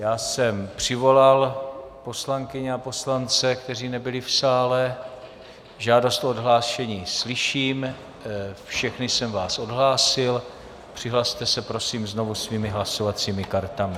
Já jsem přivolal poslankyně a poslance, kteří nebyli v sále, žádost o odhlášení slyším, všechny jsem vás odhlásil, přihlaste se prosím znovu svými hlasovacími kartami.